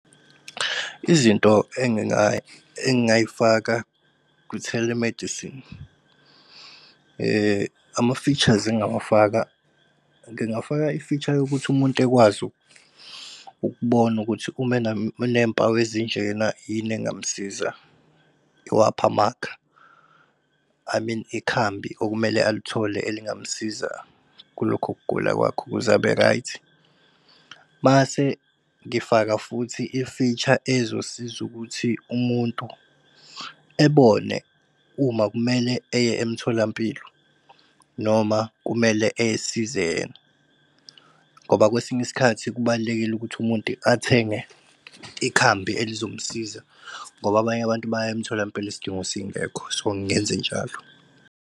Izinto engingayifaka ku-telemedicine ama-features engawafaka ngingafaka i-feature yokuthi umuntu ekwazi ukubona ukuthi uma enempawu ezinjena ini engamsiza. Iwaphamakha, I mean ikhambi okumele alithole elingamsiza kulokho kugula kwakhe kuzabe-right. Mase ngifaka futhi i-feature ezosiza ukuthi umuntu ebone uma kumele eye emtholampilo noma kumele ey'size yena ngoba kwesinye isikhathi kubalulekile ukuthi umuntu athenge ikhambi elizomsiza ngoba abanye abantu baya emtholampilo isidingo singekho. So ngingenze njalo.